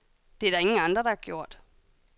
Det er der ingen andre, der har gjort.